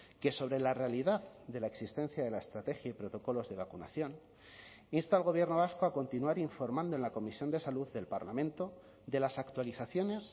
que sobre la realidad de la existencia de la estrategia y protocolos de vacunación insta al gobierno vasco a continuar informando en la comisión de salud del parlamento de las actualizaciones